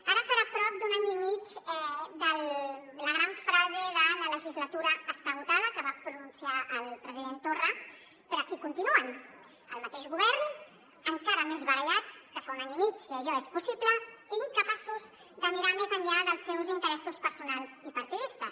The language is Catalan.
ara farà prop d’un any i mig de la gran frase de la legislatura està esgotada que va pronunciar el president torra però aquí continua el mateix govern encara més barallats que fa un any i mig si això és possible i incapaços de mirar més enllà dels seus interessos personals i partidistes